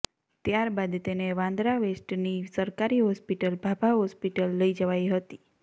ત્યાર બાદ તેને વાંદરા વેસ્ટની સરકારી હોસ્પિટલ ભાભા હોસ્પિટલ લઇ જવાઈ હતી